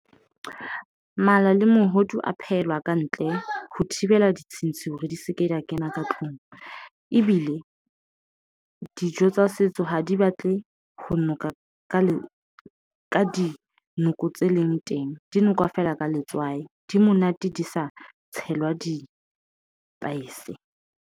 Mala le mohodu a phehelwa ka ntle, ho thibela ditshintshi hore di seke di a kena ka tlung. Ebile dijo tsa setso ha di batle ho noka ka le ka dinoko tse leng teng. Di nokwa feela ka letswai. Di monate di sa tshelwa di-spice.